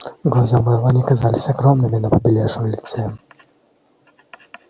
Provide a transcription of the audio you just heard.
глаза мелани казались огромными на побелевшем лице